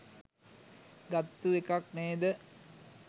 ගත්තු එකක් නේද?